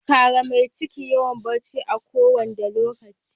Kare mai ciki yawa barci a ko wanda lokaci.